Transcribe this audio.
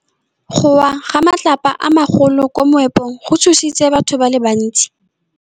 Go wa ga matlapa a magolo ko moepong go tshositse batho ba le bantsi.